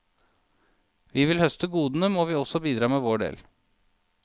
Vil vi høste godene, må vi også bidra med vår del.